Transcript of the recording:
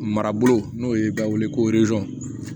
Marabolo n'o ye b'a wele ko